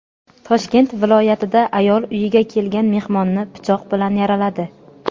Toshkent viloyatida ayol uyiga kelgan mehmonni pichoq bilan yaraladi.